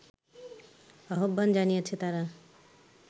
আহবান জানিয়েছে তারা